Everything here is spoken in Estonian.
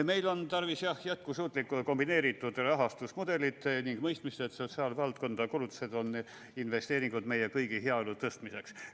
Meil on tarvis, jah, jätkusuutlikku ja kombineeritud rahastusmudelit ning mõistmist, et sotsiaalvaldkonna kulutused on investeeringud meie kõigi heaolu tõstmiseks.